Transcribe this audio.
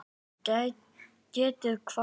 Getið hvað?